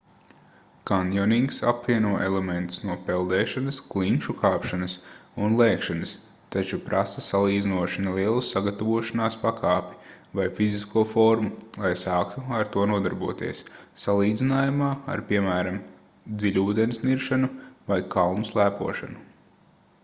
kanjonings apvieno elementus no peldēšanas klinšu kāpšanas un lēkšanas taču prasa salīdzinoši nelielu sagatavošanās pakāpi vai fizisko formu lai sāktu ar to nodarboties salīdzinājumā ar piemēram dziļūdens niršanu vai kalnu slēpošanu